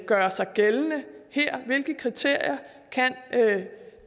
gøre sig gældende der hvilke kriterier kan